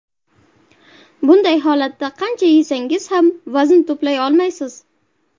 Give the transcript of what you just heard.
Bunday holatda qancha yesangiz ham vazn to‘play olmaysiz.